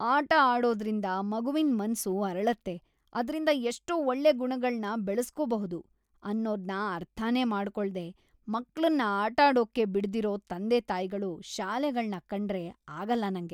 ಆಟ ಆಡೋದ್ರಿಂದ ಮಗುವಿನ್ ಮನ್ಸು ಅರಳತ್ತೆ, ಅದ್ರಿಂದ ಎಷ್ಟೋ ಒಳ್ಳೆ ಗುಣಗಳ್ನ ಬೆಳೆಸ್ಕೋಬಹುದು ಅನ್ನೋದ್ನ ಅರ್ಥನೇ ಮಾಡ್ಕೊಳ್ದೇ ಮಕ್ಳನ್ನ ಆಟಾಡೋಕ್ಕೇ ಬಿಡ್ದಿರೋ ತಂದೆತಾಯ್ಗಳು, ಶಾಲೆಗಳ್ನ ಕಂಡ್ರೇ ಆಗಲ್ಲ ನಂಗೆ.